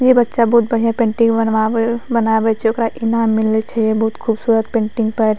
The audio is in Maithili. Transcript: ये बच्चा बहुत बढ़िया पेंटिंग बनवावे बनावे छै ओकरा इनाम मिले छै बहुत ख़ूबसूरत पेंटिंग पर।